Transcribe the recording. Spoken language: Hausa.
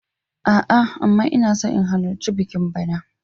A'a, amma ina so in halarci bikin bana.